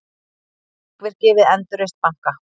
Þrekvirki við endurreisn banka